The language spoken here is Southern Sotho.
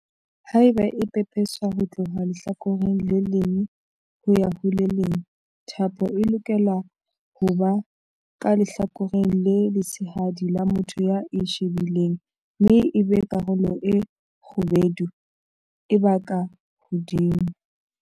Haeba e pepeswa ho tloha lehlakoreng le leng ho ya ho le leng, thapo e lokela ho ba ka lehlakoreng le letshehadi la motho ya e shebileng mme ebe karolo e kgubedu e ba ka hodimo.